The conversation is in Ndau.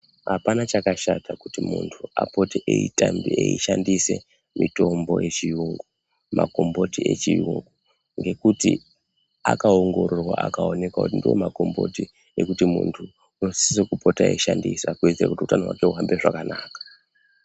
Apana chakashata kuti mundu apote eishandisa mitombo yechi yungu makomboti echi yungu ngekuti aka ongororwa akaonekwa kuti ndo makomboti ekuti mundu unosise eishandisa kuti hutano hwaker huhambe zvakanaka .